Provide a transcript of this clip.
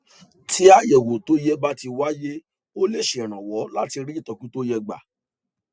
tí àyẹwò tó yẹ bá ti wáyé ó lè ṣèrànwọ láti rí ìtọjú tó yẹ gbà